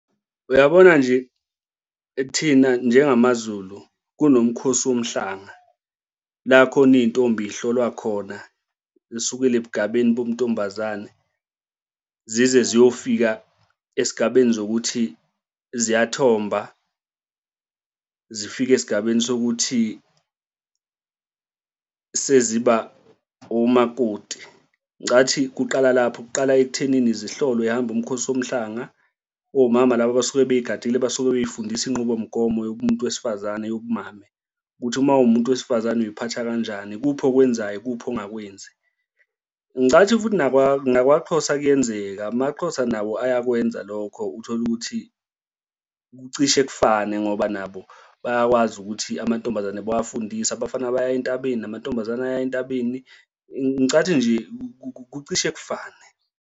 Uyabona nje thina njengamaZulu kunomkhosi womhlanga la khona iy'ntombi zihlolwa khona ekusukela ebugabeni bobuntombazana zize ziyofika esigabeni zokuthi ziyaluthomba zifike esigabeni sokuthi seziba omakoti. Ngicathi kuqala lapho kuqala ekuthenini zihlolwe zihambe umkhosi womhlanga, omama laba abasuke bey'gadile basuke bey'fundise inqubomgomo yobumuntu wesifazane yobumame, ukuthi uma uwumuntu wesifazane uy'phatha kanjani? Ikuphi okwenzayo? Ikuphi engakwenzi? Ngicathi futhi nakwaXhosa kuyenzeka amaXhosa nabo ayakwenza lokho uthole ukuthi kucishe kufane ngoba nabo bayakwazi ukuthi amantombazane bewafundise, abafana baya entabeni, namantombazane aya entabeni, ngicathu nje kucishe kufane.